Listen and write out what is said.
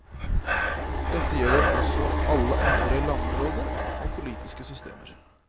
Dette gjelder også alle andre landområder og politiske systemer.